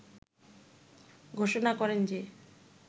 ঘোষণা করেন যে